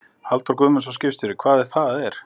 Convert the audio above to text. Halldór Guðmundsson, skipstjóri: Hvað það er?